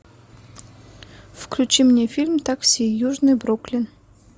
включи мне фильм такси южный бруклин